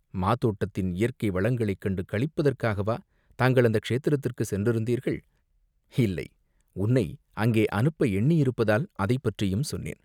மாதோட்டத்தின் இயற்கை வளங்களைக் கண்டு களிப்பதற்காகவா தாங்கள் அந்த க்ஷேத்திரத்துக்குச் சென்றிருந்தீர்கள்?" "இல்லை, உன்னை அங்கே அனுப்ப எண்ணியிருப்பதால் அதைப் பற்றியும் சொன்னேன்.